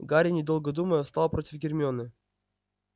гарри недолго думая встал против гермионы